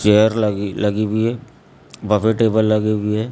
Chair लगी हुई है बफे टेबल लगे हुए हैं।